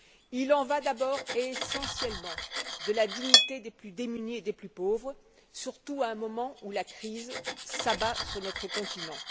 Il en va, d'abord et essentiellement, de la dignité des plus démunis et des plus pauvres, surtout à un moment où la crise s'abat sur notre continent.